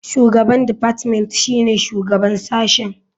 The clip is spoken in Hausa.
Shugaban deoartment shine shugaban sashen.